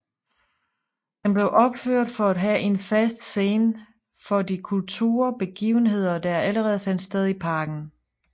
Den blev opført for at have en fast scene for de kulturbegivenheder der allerede fandt sted i parken